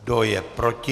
Kdo je proti?